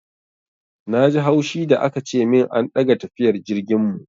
Na ji haushi da aka ce min an ɗaga tafiyar jirgin mu.